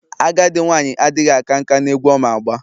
Agadi nwanyi adighi aka nka n'egwu Oma agba...